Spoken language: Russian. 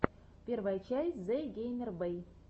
первая часть зэгеймербэй